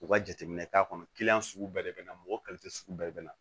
U ka jateminɛ k'a kɔnɔ sugu bɛɛ de bɛ na mɔgɔ sugu bɛɛ bɛ na